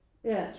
Ja